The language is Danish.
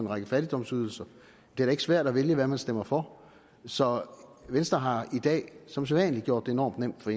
række fattigdomsydelser det er da ikke svært at vælge hvad man stemmer for så venstre har i dag som sædvanlig gjort det enormt nemt for